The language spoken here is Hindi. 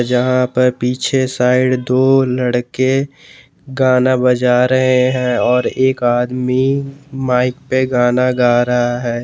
जहां पर पीछे साइड दो लड़के गाना बजा रहे हैं और एक आदमी माइक पे गाना गा रहा है।